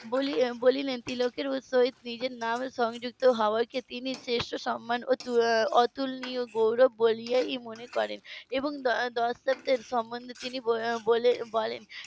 বললেন তিলকের সহিত নিজের নাম সংযুক্ত হওয়াকে তিনি শ্রেষ্ট সম্মান ও অতুলনীয় গৌরব বলে মনে করেন এবং . সম্বন্ধে তিনি বলেন